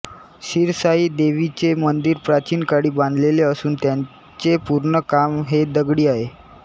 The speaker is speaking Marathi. शिरसाई देवीचे मंदिर प्राचीन काळी बांधलेले असून त्याचे पूर्ण काम हे दगडी आहे